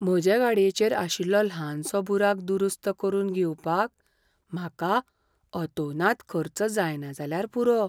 म्हजे गाडयेचेर आशिल्लो ल्हानसो बुराक दुरुस्त करून घेवपाक म्हाका अतोनात खर्च जायना जाल्यार पुरो.